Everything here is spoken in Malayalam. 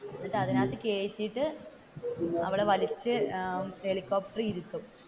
എന്നിട്ട് അതിന്റെ അകത്തു കയറ്റിയിട്ടു അവളെ വലിച്ചു ഹെലികോപ്റ്ററിൽ ഇരുത്തും.